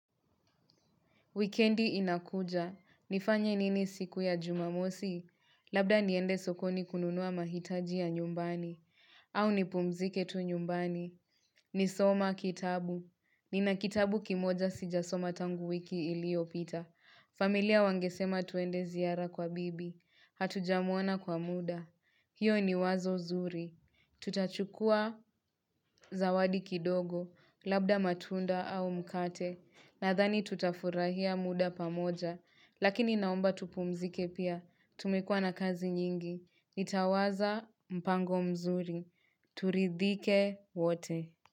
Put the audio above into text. Wikendi inakuja. Nifanye nini siku ya jumamosi? Labda niende sokoni kununua mahitaji ya nyumbani. Au nipumzike tu nyumbani. Ni soma kitabu. Nina kitabu kimoja sijasoma tangu wiki iliyopita. Familia wangesema tuende ziara kwa bibi. Hatujamwona kwa muda. Hiyo ni wazo zuri, tutachukua zawadi kidogo, labda matunda au mkate, nathani tutafurahia muda pamoja, lakini naomba tupumzike pia, tumekuwa na kazi nyingi, nitawaza mpango mzuri, turidhike wote.